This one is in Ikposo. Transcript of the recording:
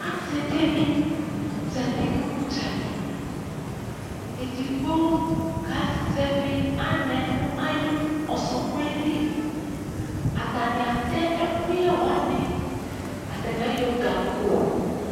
Ase de ne zati no udzali Edigbo kaa zɛve anɛ no ayo ɔsɔkɔɛ li Atane atɛ ekuyɛ wane, atane ayɔ gako